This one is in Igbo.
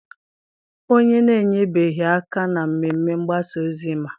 onye na-enyebeghị aka na mmemme mgbasa ozi ma